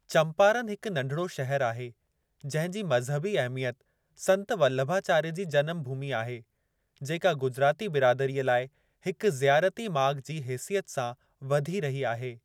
चम्पारन हिकु नढिड़ो शहर आहे जंहिंजी मज़हबी अहमियत संत वल्लभाचार्य जी जनमु भूमी आहे, जेका गुजराती बिरादरीअ लाइ हिक ज़ियारती माॻु जी हेसियत सां वधी रही आहे।